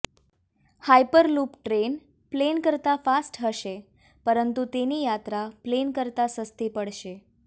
hyper loop train plane કરતા fast હશે પરંતુ તેની યાત્રા પ્લેન કરતા સસ્તી પડશે